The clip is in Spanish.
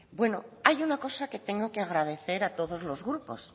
bueno hay una cosa que tengo que agradecer a todos los grupos